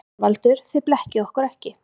ÞORVALDUR: Þið blekkið okkur ekki.